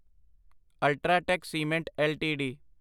UltraTech cement LTD